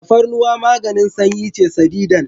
Tafarnuwa maganin sanyi ce sadidan.